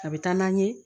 A bɛ taa n'a ye